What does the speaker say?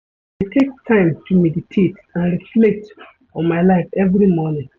I dey take time to meditate and reflect on my life every morning.